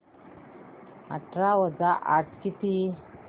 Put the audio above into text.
अठरा वजा आठ किती